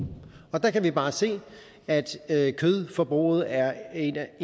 og der kan vi bare se at at kødforbruget er en af